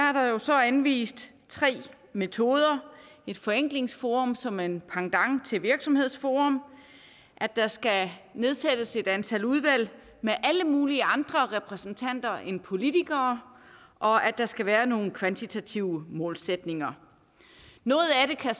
er der jo så anvist tre metoder et forenklingsforum som en pendant til virksomhedsforum at der skal nedsættes et antal udvalg med alle mulige andre repræsentanter end politikere og at der skal være nogle kvantitative målsætninger noget af det kan